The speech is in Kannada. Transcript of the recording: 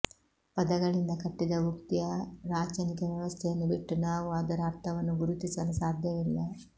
ಪದಗಳಿಂದ ಕಟ್ಟಿದ ಉಕ್ತಿಯ ರಾಚನಿಕ ವ್ಯವಸ್ಥೆಯನ್ನು ಬಿಟ್ಟು ನಾವು ಅದರ ಅರ್ಥವನ್ನು ಗುರುತಿಸಲು ಸಾಧ್ಯವಿಲ್ಲ